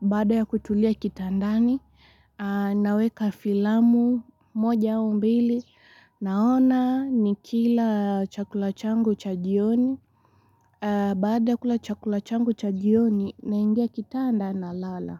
bada ya kutulia kitandani, naweka filamu moja au mbili, naona nikila chakula changu cha jioni, baada ya kula chakula changu cha jioni, naingia kitanda na lala.